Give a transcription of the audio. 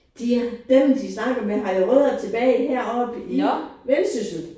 De dem de snakker med har jo rødder tilbage heroppe i Vendsyssel